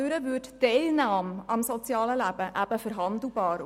Dadurch würde die Teilnahme am sozialen Leben eben verhandelbar.